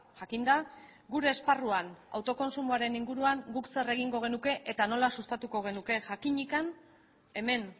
jakinda gure esparruan autokontsumoaren inguruan guk zer egingo genuke eta nola sustatuko genuke jakinik hemen